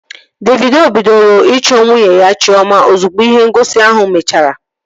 Davido bidoro ịchọ nwunye ya Chiọma ozugbo ihe ngosi ahụ mechara